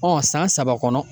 Ɔ san saba kɔnɔ.